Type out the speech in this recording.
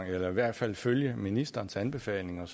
eller i hvert fald følge ministerens anbefalinger